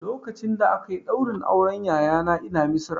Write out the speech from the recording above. Lokacin da aka yi ɗaurin auren yayana ina Misira